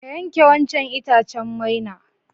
Ka yanke wancan itacen maina.